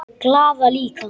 Glaða líka.